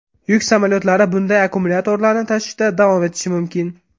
Yuk samolyotlari bunday akkumulyatorlarni tashishda davom etishi mumkin.